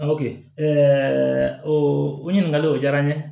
o ɲininkali o diyara n ye